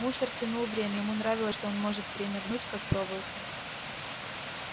мусор тянул время ему нравилось что он может время гнуть как проволоку